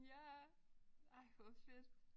Ja. Ej hvor fedt